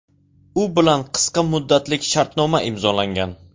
U bilan qisqa muddatlik shartnoma imzolangan.